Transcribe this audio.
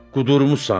Qudurmusan?